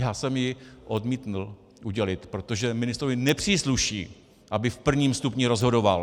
Já jsem ji odmítl udělit, protože ministrovi nepřísluší, aby v prvním stupni rozhodoval.